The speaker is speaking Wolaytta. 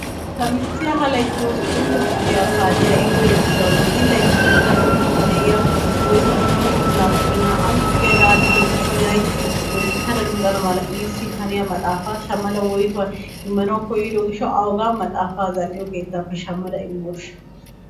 Ta michchiya ha laytti hosppuntto kifiliyaa paaciya ekkiyo gishshawunne zilaytti iira luxidde de'iyaa oyttamannne hosppun naatuppe naa"antto kiyada aadhdhiddo gishshawu laytti loyttada luxana mala iisi haniya maxaafa shammada woyttuwaa immanawu koyddo gishshawu ayigaa maxaafa keettappe zal"iyo keettappe shammada immoosha?